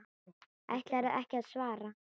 Ætlarðu ekki að svara?